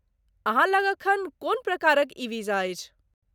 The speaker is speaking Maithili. अहाँ लग एखन कोन प्रकारक ई वीजा अछि?